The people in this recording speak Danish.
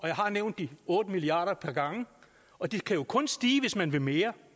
jeg har nævnt de otte milliard par gange og det kan jo kun stige hvis man vil mere